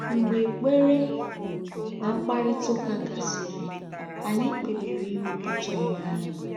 Mgbe ekpere na mkparịta ụka gasịrị, anyị kpebiri iwepụta onwe anyị.